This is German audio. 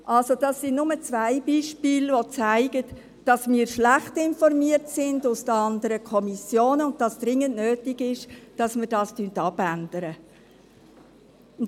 Das sind zwei Beispiele, die zeigen, dass wir aus den anderen Kommissionen schlecht informiert werden und es dringend nötig ist, dies zu ändern.